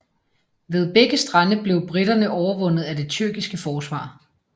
Ved begge strande blev briterne overvundet af det tyrkiske forsvar